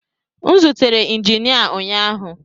M zutere injinia ụnyaahụ